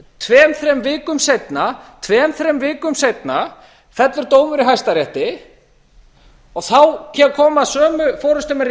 tveimur þremur vikum seinna tveimur þremur vikum seinna fellur dómur í hæstarétti þá koma sömu forustumenn